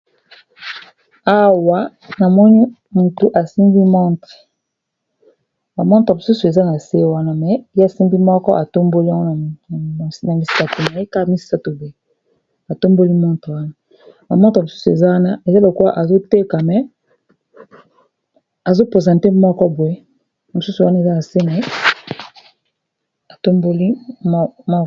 awa namoni loboko ya mutu rsimbi montre ma motre mosusu eza na se wana me ye asimbi moko ba misusu eza na se